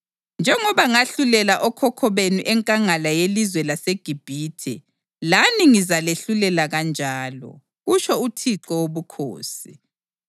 Njengoba ngahlulela okhokho benu enkangala yelizwe laseGibhithe, lani ngizalahlulela kanjalo, kutsho uThixo Wobukhosi.